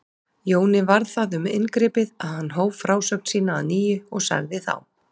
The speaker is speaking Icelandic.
Jóni varð það um inngripið að hann hóf frásögn sína að nýju og sagði þá